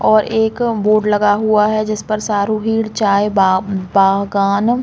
और एक बोर्ड लगा हुआ है जिस पर सारूहीड चाय बाग बागान--